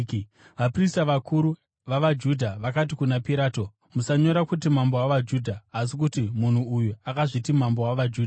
Vaprista vakuru vavaJudha vakati kuna Pirato, “Musanyora kuti, ‘Mambo wavaJudha,’ asi kuti, ‘Munhu uyu akazviti mambo wavaJudha.’ ”